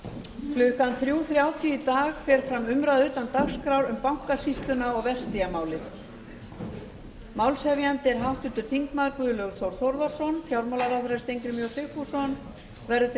klukkan þrjú þrjátíu í dag fer fram umræða utan dagskrár um bankasýsluna og vertíðarmálið málshefjandi er háttvirtur þingmaður guðlaugur þór þórðarson fjármálaráðherra steingrímur j sigfússon verður til